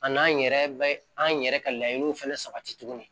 A n'an yɛrɛ bɛ an yɛrɛ ka laɲiniw fana sabati tuguni